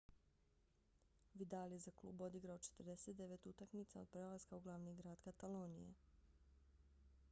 vidal je za klub odigrao 49 utakmica od prelaska u glavni grad katalonije